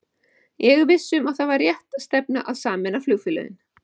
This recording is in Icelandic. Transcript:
Ég er viss um að það var rétt stefna að sameina flugfélögin.